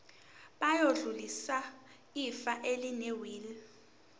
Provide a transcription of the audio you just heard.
bayodlulisela ifa elinewili